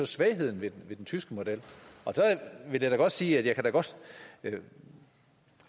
svagheden ved den tyske model så vil jeg da godt sige at jeg godt kan